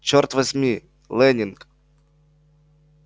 черт вас возьми лэннинг